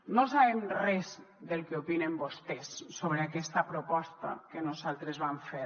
no sabem res del que opinen vostès sobre aquesta proposta que nosaltres vam fer